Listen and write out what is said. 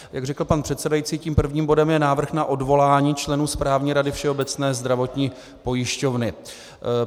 Jak řekl pan předsedající, tím prvním bodem je návrh na odvolání členů Správní rady Všeobecné zdravotní pojišťovny.